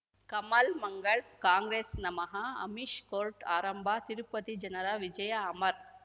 Kamal Mangal Congress ನಮಃ Amish court ಆರಂಭ ತಿರುಪತಿ ಜನರ ವಿಜಯ ಅಮರ್